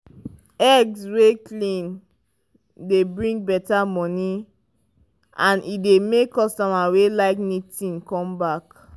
egg wey clean dey bring better money and e dey make customer wey like neat thing come back.